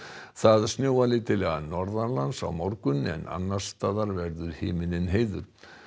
það snjóar lítillega á morgun en annars staðar verður himininn heiður